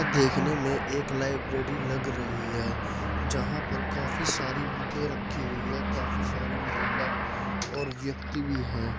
देखने मे एक लाइब्रेरी लग रही है जहां पर काफी सारी बुकें रखी हुई है काफी सारी महिला और व्यक्ति भी हैं।